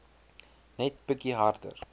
net bietjie harder